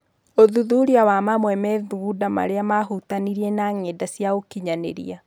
ũthuthuria wa mamwe methugunda marĩa mahutanĩtie na ng'enda cia ũkinyanĩria.